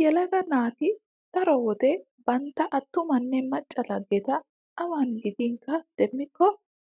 Yelaga naati daro wode bantta attumanne macca laggeta awn gidinkka demmikko